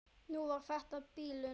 Nú var þetta bilun.